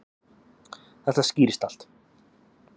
Þetta skýrist allt.